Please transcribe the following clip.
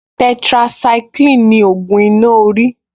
Tetracycline ni ògùn iná orí